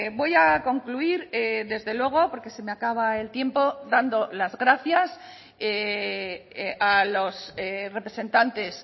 voy a concluir desde luego porque se me acaba el tiempo dando las gracias a los representantes